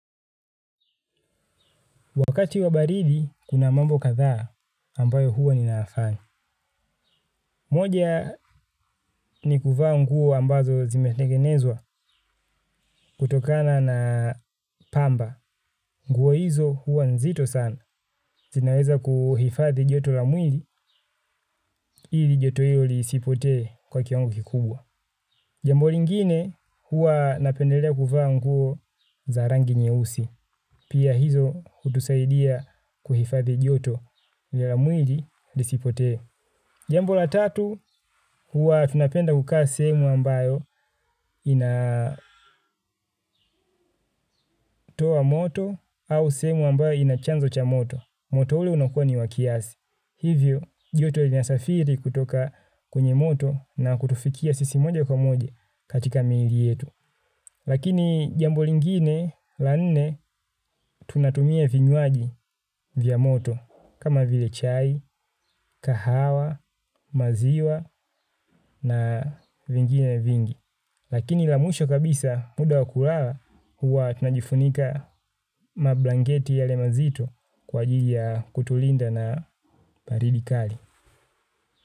Wakati wa baridi, kuna mambo kadhaa ambayo huwa ninayafanya. Moja ni kuvaa nguo ambazo zimetengenezwa kutokana na pamba. Nguo hizo huwa nzito sana. Zinaweza kuhifadhi joto la mwili, ili joto hilo lisipotee kwa kiwango kikubwa. Jambo lingine huwa napendelea kuvaa nguo za rangi nyeusi. Pia hizo hutusaidia kuhifadhi joto ya la mwili lisipotee. Jambo la tatu, huwa tunapenda kukaa sehemu ambayo ina moto au sehemu ambayo inachanzo cha moto. Moto ule unakuwa ni wakiasi. Hivyo, joto inasafiri kutoka kwenye moto na kutufikia sisi moja kwa moja katika mwili yetu. Lakini jambo lingine, la nne, tunatumia vinywaji vya moto. Kama vile chai, kahawa, maziwa na vingine vingi. Lakini la mwisho kabisa muda wa kulala huwa tunajifunika mablanketi yale mazito kwa ajili ya kutulinda na baridi kali.